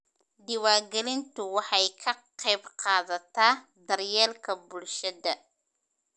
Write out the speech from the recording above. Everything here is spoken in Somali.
Diiwaangelintu waxay ka qaybqaadataa daryeelka bulshada.